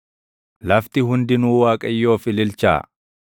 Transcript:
Lafti hundinuu Waaqayyoof ililchaa.